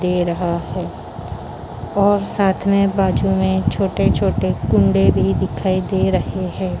दे रहा है और साथ में बाजू में छोटे-छोटे कुंडे भी दिखाई दे रहे हैं।